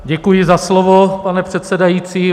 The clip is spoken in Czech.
Děkuji za slovo, pane předsedající.